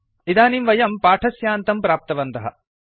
इदानीं वयं पाठस्यान्तं प्राप्तवन्तः